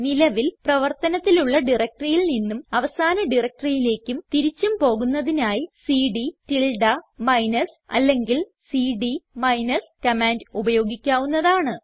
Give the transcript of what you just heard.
നിലവിൽ പ്രവർത്തനത്തിലുള്ള directoryയിൽ നിന്നും അവസാന directoryയിലേക്കും തിരിച്ചും പോകുന്നതിനായി സിഡി മൈനസ് അല്ലെങ്കിൽ സിഡി മൈനസ് കമാൻഡ് ഉപയോഗിക്കാവുന്നതാണ്